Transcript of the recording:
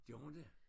Gjorde hun det?